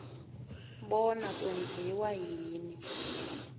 bona kwenziwa yini